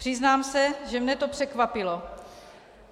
Přiznám se, že mě to překvapilo.